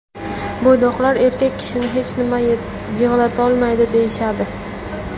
Bo‘ydoqlar erkak kishini hech nima yig‘latolmaydi deyishadi.